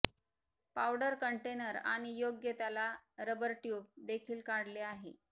powder container आणि योग्य त्याला रबर ट्यूब देखील काढले आहे